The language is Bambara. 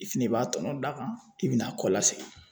I fɛnɛ b'a tɔnɔ d'a kan i be na kɔlasegin